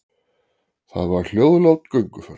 Það var hljóðlát gönguför.